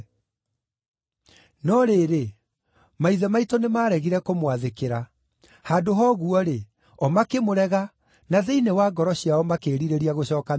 “No rĩrĩ, maithe maitũ nĩmaregire kũmwathĩkĩra. Handũ ha ũguo-rĩ, o makĩmũrega, na thĩinĩ wa ngoro ciao makĩĩrirĩria gũcooka Misiri.